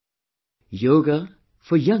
Yoga for Young India